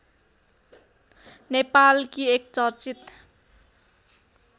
नेपालकी एक चर्चित